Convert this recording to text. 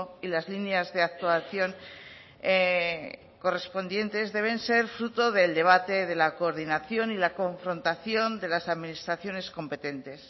y las líneas de actuación correspondientes deben ser fruto del debate de la coordinación y la confrontación de las administraciones competentes